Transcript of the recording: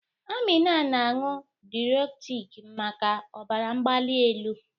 Amina na-aṅụ Diuretik maka ọbara mgbali elu.